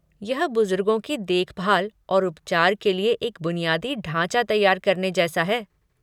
यह बुजुर्गों की देखभाल और उपचार के लिए एक बुनियादी ढाँचा तैयार करने जैसा है।